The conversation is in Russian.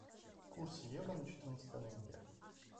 курс евро на четырнадцатое ноября